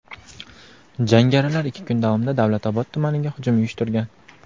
jangarilar ikki kun davomida Davlat Obod tumaniga hujum uyushtirgan.